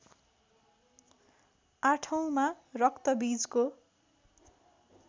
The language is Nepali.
आठौँमा रक्तबीजको